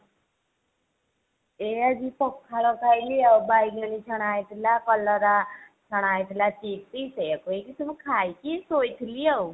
ଏ ଆଜି ପଖାଳ ଖାଇଲି ଆଉ ବାଇଗେଣୀ ଛଣା ହେଇଥିଲା କଲରା ଛଣା ହେଇଥିଲା chips ସେୟା କୁ ହେଇକି ସବୁ ଖାଇକି ଶୋଇଥିଲି ଆଉ।